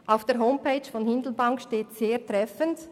Auf der Homepage von Hindelbank steht sehr treffend: